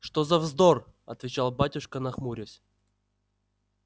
что за вздор отвечал батюшка нахмурясь